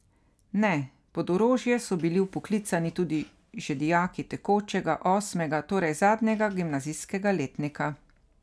Ne, pod orožje so bili vpoklicani tudi že dijaki tekočega, osmega, torej zadnjega gimnazijskega letnika.